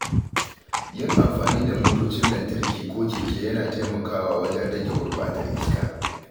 Yin amfani da motocin lantarki ko keke yana taimakawa wajen rage gurbatar iska.